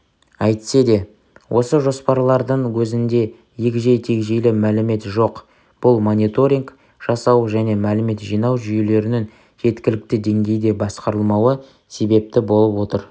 әйтсе де осы жоспарлардың өзінде егжей тегжейлі мәлімет жоқ бұл мониторинг жасау және млімет жинау жүйелерінің жеткілікті деңгейде басқарылмауы себепті болып отыр